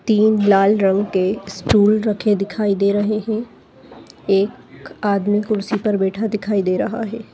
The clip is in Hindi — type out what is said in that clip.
तीन लाल रंग के स्टूल रखे दिखाई दे रहे है एक आदमी कुर्सी पर बैठा दिखाई दे रहा है।